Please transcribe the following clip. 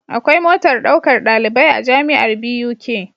Akwai motar ɗaukar ɗalibai a jamiar Buk